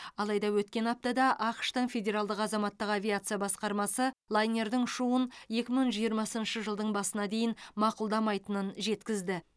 алайда өткен аптада ақш тың федеральдық азаматтық авиация басқармасы лайнердің ұшуын екі мың жиырмасыншы жылдың басына дейін мақұлдамайтынын жеткізді